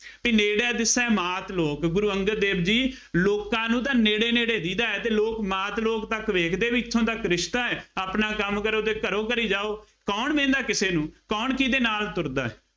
ਬਈ ਨੇੜੇ ਦਿਸੇ ਮਾਤ ਲੋਕ ਗੁਰੂ ਅੰਗਦ ਦੇਵ ਜੀ ਲੋਕਾਂ ਨੂੰ ਤਾਂ ਨੇੜੇ ਨੇੜੇ ਦੀਂਹਦਾ ਅਤੇ ਲੋਕ ਮਾਤ ਲੋਕ ਤੱਕ ਵੇਖਦੇ ਬਈ ਕਿੱਥੋਂ ਤੱਕ ਰਿਸ਼ਤਾ ਹੈ, ਆਪਣਾ ਕੰਮ ਕਰੋ ਅਤੇ ਘਰੋਂ ਘਰੀ ਜਾਉ। ਕੌਣ ਵਹਿੰਦਾ ਕਿਸੇ ਨੂੰ, ਕੌਣ ਕਿਹਦੇ ਨਾਲ ਤੁਰਦਾ ਹੈ।